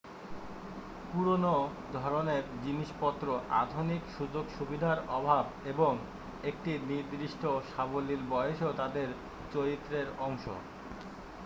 পুরানো ধরণের জিনিসপত্র আধুনিক সুযোগ সুবিধার অভাব এবং একটি নির্দিষ্ট সাবলীল বয়সও তাদের চরিত্রের অংশ